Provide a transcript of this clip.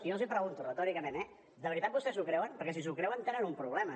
jo els pregunto retòricament eh de veritat vostès s’ho creuen perquè si s’ho creuen tenen un problema